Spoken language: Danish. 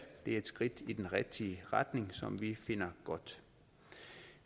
det er et skridt i den rigtige retning som vi finder godt